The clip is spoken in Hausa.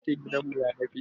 Kalar fentin gidan mu ya dafe.